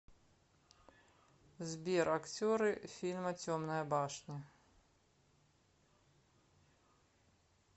сбер актеры фильма темная башня